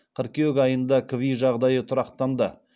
қыркүйек айында кви жағдайы тұрақтанды